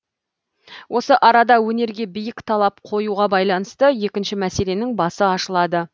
осы арада өнерге биік талап қоюға байланысты екінші мәселенің басы ашылады